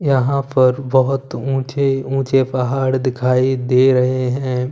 यहां पर बहुत ऊंचे ऊंचे पहाड़ दिखाई दे रहे हैं।